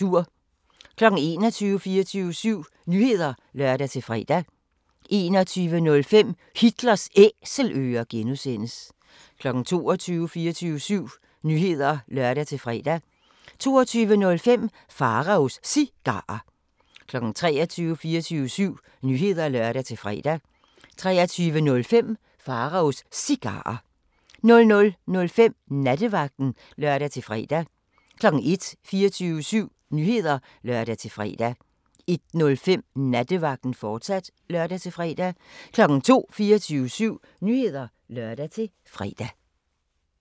21:00: 24syv Nyheder (lør-fre) 21:05: Hitlers Æselører (G) 22:00: 24syv Nyheder (lør-fre) 22:05: Pharaos Cigarer 23:00: 24syv Nyheder (lør-fre) 23:05: Pharaos Cigarer 00:05: Nattevagten (lør-fre) 01:00: 24syv Nyheder (lør-fre) 01:05: Nattevagten, fortsat (lør-fre) 02:00: 24syv Nyheder (lør-fre)